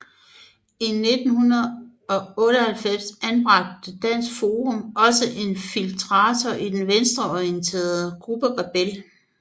I 1998 anbragte Dansk Forum også en infiltrator i den venstreorienterede gruppe Rebel